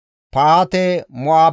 Baane zereththati 642,